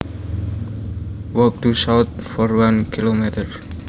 Walk due south for one kilometer